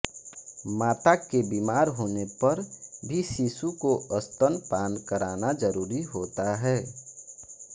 माता के बीमार होनेपर भी शिशु को स्तनपान कराना जरूरी होता है